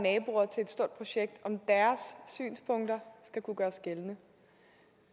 naboer til et stort projekts synspunkter skal kunne gøres gældende